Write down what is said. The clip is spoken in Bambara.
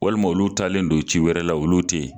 Walima olu taalen don ci wɛrɛ la olu tɛ yen